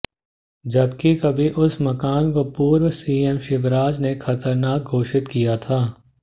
जबकि कभी उस मकान को पूर्व सीएम शिवराज ने खतरनाक घोषित किया था